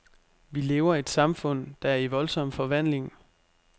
Vi lever i et samfund, der er i voldsom forvandling.